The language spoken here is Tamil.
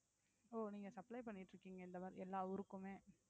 ஓ நீங்க supply பண்ணிட்டு இருக்கீங்க இந்த மாதிரி எல்லா ஊருக்குமே